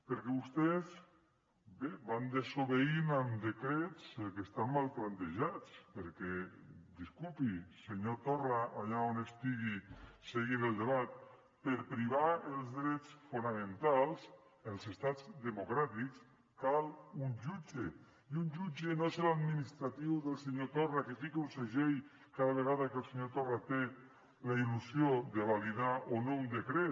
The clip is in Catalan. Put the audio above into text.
perquè vostès van desobeint amb decrets que estan mal plantejats perquè disculpi senyor torra allà on estigui seguint el debat per privar dels drets fonamentals als estats democràtics cal un jutge i un jutge no serà un administratiu del senyor torra que fica un segell cada vegada que el senyor torra té la il·lusió de validar o no un decret